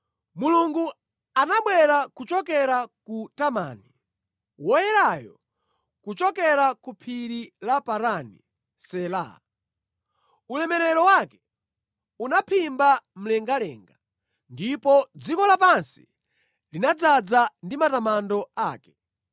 Mulungu anabwera kuchokera ku Temani, Woyerayo kuchokera ku Phiri la Parani. Sela Ulemerero wake unaphimba mlengalenga ndipo dziko lapansi linadzaza ndi matamando ake.